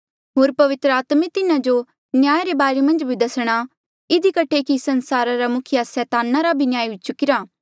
होर पवित्र आत्मा तिन्हा जो न्याया रे बारे मन्झ भी दसणा इधी कठे कि संसारा रा मुखिया सैतान रा भी न्याय हुई चुकिरा